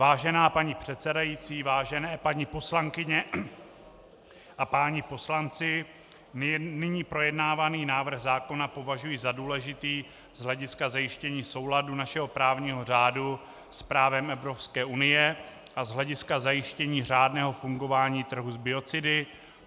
Vážená paní předsedající, vážené paní poslankyně a páni poslanci, nyní projednávaný návrh zákona považuji za důležitý z hlediska zajištění souladu našeho právního řádu s právem Evropské unie a z hlediska zajištění řádného fungování trhu s biocidy.